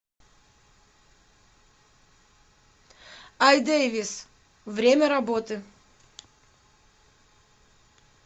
айдэвис время работы